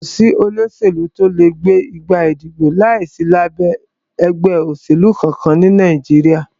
Kò sí olóṣèlú tí o lè gbégbá ìdìbò láìsí lábẹ́ ẹgbẹ́ òṣèlú kankan ní Nàìjíríà.